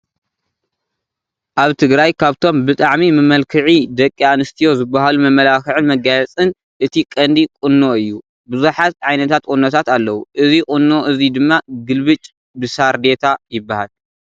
ኣብ ትግራይ ካብቶም ብጣዕሚ መመልክዒ ደቂ ኣንስትዮ ዝባሃሉ መመላኽዕን መጋየፅን እቲ ቀንዲ ቁኖ እዩ፡፡ ብዙሓት ዓይነታት ቁኖታት ኣለው፡፡ እዚ ቁኖ እዚ ድማ ግልብጭ ብሳርዴታ ይባሃል፡፡